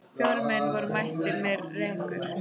Fjórir menn voru mættir með rekur.